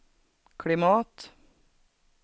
klimat